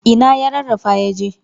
Ina ya rarrafa yaje?